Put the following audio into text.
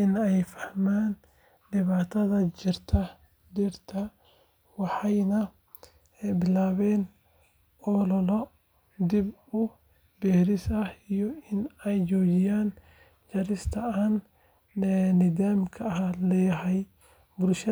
in ay fahmaan dhibaatada jarista dhirta, waxayna bilaabeen ol’ole dib u beeris ah iyo in ay joojiyaan jarista aan nidaamka lahayn. Bulshadu hadda.